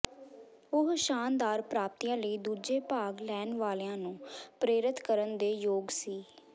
ਉਹ ਸ਼ਾਨਦਾਰ ਪ੍ਰਾਪਤੀਆਂ ਲਈ ਦੂਜੇ ਭਾਗ ਲੈਣ ਵਾਲਿਆਂ ਨੂੰ ਪ੍ਰੇਰਤ ਕਰਨ ਦੇ ਯੋਗ ਸੀ